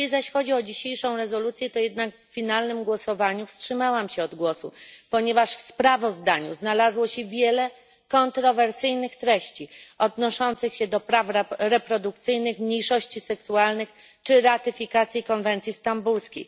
Jeśli zaś chodzi o dzisiejszą rezolucję, to w finalnym głosowaniu wstrzymałam się jednak od głosu, ponieważ w sprawozdaniu znalazło się wiele kontrowersyjnych treści, odnoszących się do praw reprodukcyjnych, mniejszości seksualnych czy ratyfikacji konwencji stambulskiej.